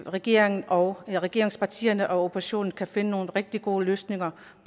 regeringen og regeringspartierne og oppositionen kan finde nogle rigtig gode løsninger